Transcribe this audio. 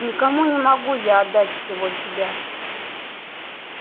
никому не могу я отдать всего себя